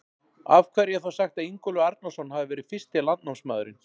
Af hverju er þá sagt að Ingólfur Arnarson hafi verið fyrsti landnámsmaðurinn?